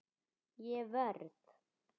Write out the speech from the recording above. Ég verð!